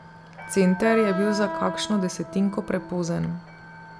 Center je bil za kakšno desetinko prepozen.